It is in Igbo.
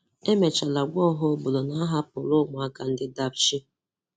Emechara gwa ọha obodo na-ahapụla ụmụaka ndị Dapchi